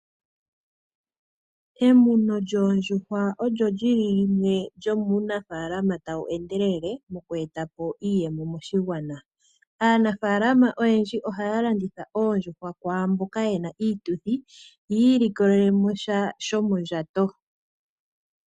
Emuno lyoondjuhwa olyo lyili limwe lyomuu nafaalama tawu endelele moku etapo iiyemo moshigwana. Aanafaalama oyendji ohaa landitha oondjuhwa kwaamboka yena iituthi yiilikolele mo sha shomo ndjato.